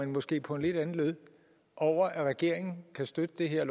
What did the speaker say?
måske på en lidt anden led over at regeringen kan støtte det her